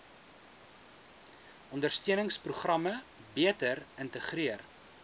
ondersteuningsprogramme beter integreer